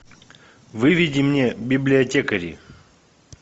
выведи мне библиотекари